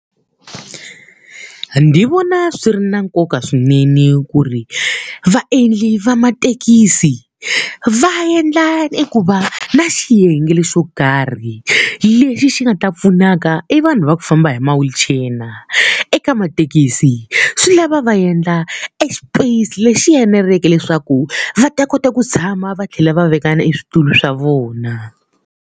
Ndzi vona swi ri na nkoka swinene ku ri vaendli va mathekisi va endla i ku va na xiyenge xo karhi lexi xi nga va pfunaka evanhu va ku famba hi ma-wheelchair-na. Eka mathekisi, swi lava va endla e xipeyisi lexi eneleke leswaku va ta kota ku tshama va tlhela va veka na eswitulu swa vona.